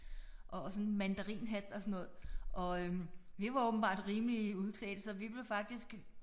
Og og sådan mandarinhat og sådan noget og vi var åbenbart rimelig udklædte så vi blev faktisk